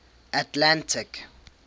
atlantic